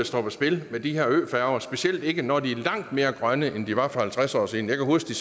står på spil med de her øfærger specielt ikke når de er langt mere grønne end de var for halvtreds år siden jeg kan huske